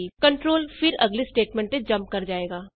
control ਫਿਰ ਅਗਲੀ statement ਤੇ ਜੰਪ ਕਰ ਜਾਏਗਾ